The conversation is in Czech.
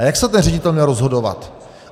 A jak se ten ředitel měl rozhodovat?